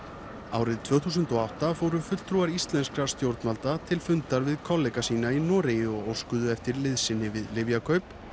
ennþá tvö þúsund og átta fóru fulltrúar íslenskra stjórnvalda til fundar við kollega sína í Noregi og óskuðu eftir liðsinni við lyfjakaup